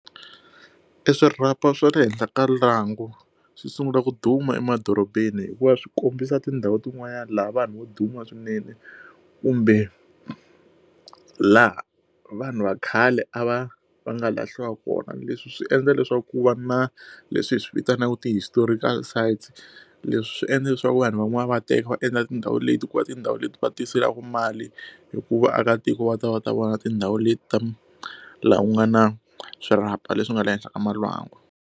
E swirhapa swa le henhla ka lwangu swi sungula ku duma emadorobeni hikuva swi kombisa tindhawu tin'wanyana laha vanhu vo duma swinene kumbe laha vanhu va khale a va va nga lahliwa kona leswi swi endla leswaku ku va na leswi hi swivitanaka ti-historical sides leswi swi endla leswaku vanhu van'wana va teka va endla tindhawu leti ku va tindhawu leti va tiselaka mali hikuva vaakatiko va ta va ta vona tindhawu leti laha ku nga na swirhapa leswi nga le henhla ka malwangu.